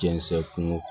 Jɛnsɛ kun